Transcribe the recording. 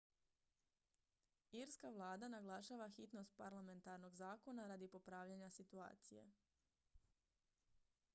irska vlada naglašava hitnost parlamentarnog zakona radi popravljanja situacije